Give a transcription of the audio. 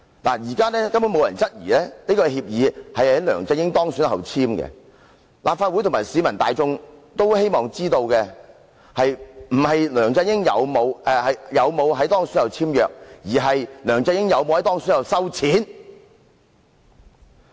現時根本沒有人質疑協議是在梁振英當選後才簽訂，立法會和市民大眾希望知道的，不是梁振英有否在當選後簽約，而是梁振英有否在當選後收錢。